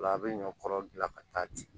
Ola a bɛ ɲɔ kɔrɔ bila ka taa ten